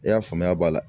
I y'a faamuya b'a la